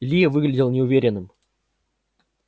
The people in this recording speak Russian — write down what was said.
ли выглядел неуверенным